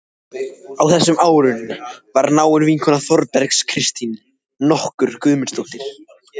Á þessum árum var náin vinkona Þórbergs Kristín nokkur Guðmundardóttir.